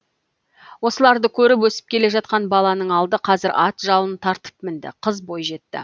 осыларды көріп өсіп келе жатқан баланың алды қазір ат жалын тартып мінді қыз бойжетті